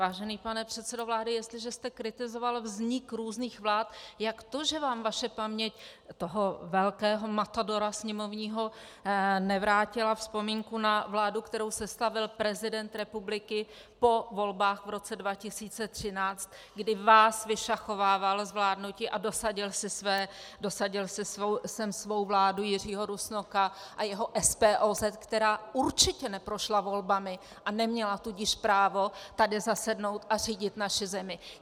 Vážený pane předsedo vlády, jestliže jste kritizoval vznik různých vlád, jak to, že vám vaše paměť, toho velkého matadora sněmovního, nevrátila vzpomínku na vládu, kterou sestavil prezident republiky po volbách v roce 2013, kdy vás vyšachovával z vládnutí a dosadil si sem svou vládu Jiřího Rusnoka a jeho SPOZ, která určitě neprošla volbami, a neměla tudíž právo tady zasednout a řídit naši zemi?